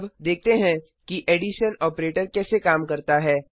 अब देखते हैं कि एडिशन ऑपरेटर कैसे काम करता है